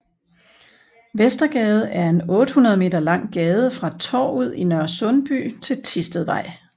Vestergade er en 800 meter lang gade fra Torvet i Nørresundby til Thistedvej